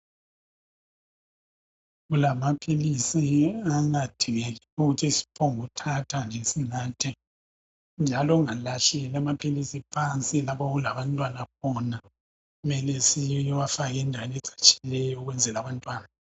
Kulamaphilisi angadingeki ukuthi siphonguthatha nje sinatha njalo ungalahleli amaphilisi phansi nje okulabantwana khona. Kumele siwafake endaweni ecatshileyo ukwenzela abantwana.